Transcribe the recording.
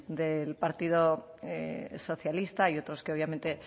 del partido socialista y otros que obviamente